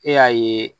E y'a ye